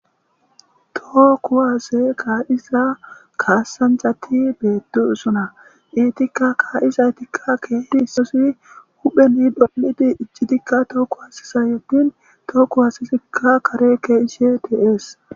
Too ku waase kaa'isa kaassanjati beeduusona iitikka kaa'isaytikka keedi issoosi hupheni dolidi iccitikka too ku wasisa yootin tooku hasisikka kare keeishe teees